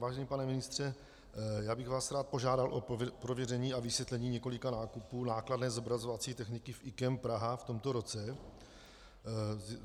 Vážený pane ministře, já bych vás rád požádal o prověření a vysvětlení několika nákupů nákladné zobrazovací techniky v IKEM Praha v tomto roce.